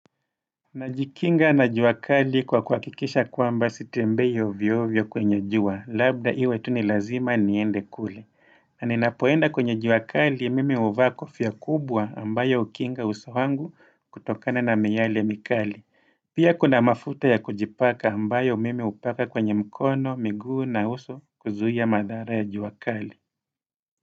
Najikinga na jua kali kwa kuhakikisha kwamba sitembei ovyo ovyo kwenye jua, labda iwe tu ni lazima niende kule na ninapoenda kwenye juakali mimi huvaa kofia kubwa ambayo hukinga uso wangu kutokana na miale mikali Pia kuna mafuta ya kujipaka ambayo mimi hupaka kwenye mkono, miguu na uso kuzuia madhara ya juakali.